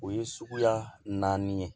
O ye suguya naani ye